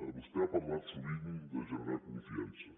vostè ha parlat sovint de generar confiança